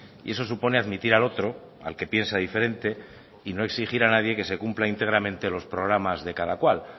y eso supone admitir al otro al que piensa diferente y no exigir a nadie que se cumpla íntegramente los programas de cada cual